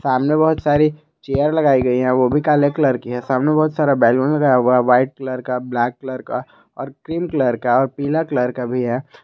सामने बहुत सारी चेयर लगाई गई है वो भी काले कलर की है सामने बहुत सारा बैलून लगाया हुआ है व्हाइट कलर का ब्लैक कलर का और क्रीम कलर का और पीला कलर का भी है।